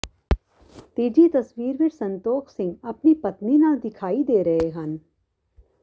ਤੀਜੀ ਤਸਵੀਰ ਵਿੱਚ ਸੰਤੋਖ ਸਿੰਘ ਆਪਣੀ ਪਤਨੀ ਨਾਲ ਦਿਖਾਈ ਦੇ ਰਹੇ ਹਨ